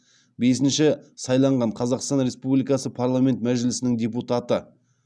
бесінші сайланған қазақстан республикасы парламент мәжілісінің депутаты